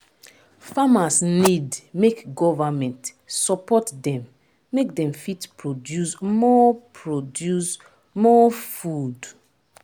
farmers need make government support dem make dem fit produce more produce more food